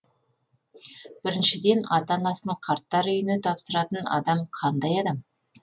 біріншіден ата анасын қарттар үйіне тапсыратын адам қандай адам